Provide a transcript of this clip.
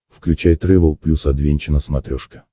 включай трэвел плюс адвенча на смотрешке